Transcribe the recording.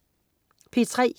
P3: